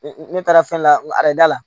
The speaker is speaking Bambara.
Ne taara fɛn lada la